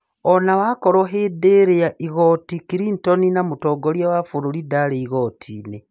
Onawakorwo hĩndĩ rĩa igoti Clinton ,na mutongoria wa bũrũri ndari igotinĩ